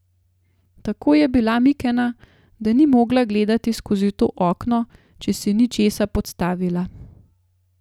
Tako je bila mikena, da ni mogla gledati skozi to okno, če si ni česa podstavila.